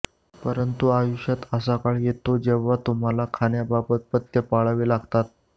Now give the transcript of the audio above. पंरतु आयुष्यात असा काळ येतो जेव्हा तुम्हाला खाण्याबाबत पथ्य पाळावी लागतात